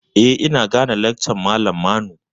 Eh, ina gane lakcan malam Manu.